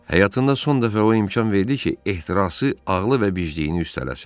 Həyatında son dəfə o imkan verdi ki, ehtirası ağlı və bicliyini üstələsin.